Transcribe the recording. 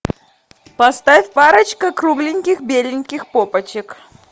поставь парочка кругленьких беленьких попочек